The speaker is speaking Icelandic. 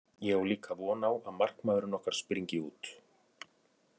Ég á líka von á að markmaðurinn okkar spryngi út.